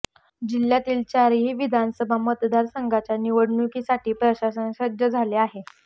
जिल्हयातील चारही विधानसभा मतदार संघाच्या निवडणुकीसाठी प्रशासन सज्ज झाले आहे